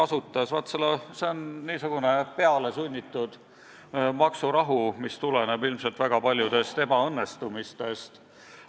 See on niisugune peale sunnitud maksurahu, mis tuleneb ilmselt väga paljudest ebaõnnestumistest.